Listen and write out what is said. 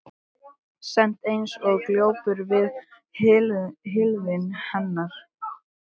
Sat eins og glópur við hlið hennar.